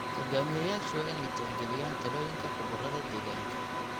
Hoggaamiyeyaashu waa inay tixgeliyaan talooyinka khubarada deegaanka.